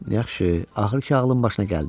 Yaxşı, axır ki ağlın başına gəldi.